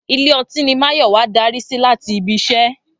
Ilé ọtí ni Máyọ̀wá darí sí láti ibi iṣẹ́